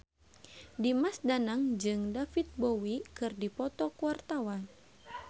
Dimas Danang jeung David Bowie keur dipoto ku wartawan